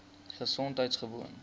gesondheidgewoon